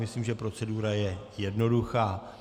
Myslím, že procedura je jednoduchá.